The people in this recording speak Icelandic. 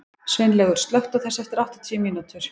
Sveinlaugur, slökktu á þessu eftir áttatíu mínútur.